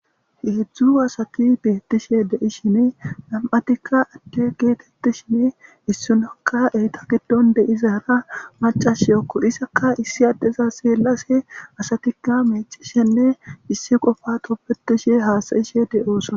Heezhzhu asati betishe deishin nam'tika adde gettetishin issinoka eeta giddon deizara maccashiyoko izzaka issi addeza xellashe asatika miccishenne issi qoffa tobbetishenne hasa'etishe de'ossona.